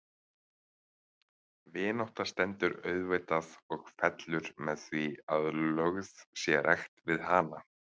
Vinátta stendur auðvitað og fellur með því að lögð sé rækt við hana.